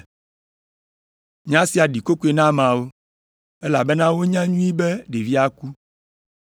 Nya sia ɖi kokoe na ameawo, elabena wonya nyuie be ɖevia ku.